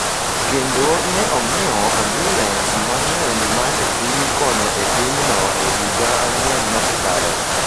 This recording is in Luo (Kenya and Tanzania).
kendo ne ong’iewo ambulens mang’eny ma ne dhi konyo e pinyno e higa ang’wen mosekalo.